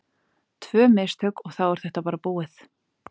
Tvö mistök og þá er þetta bara búið.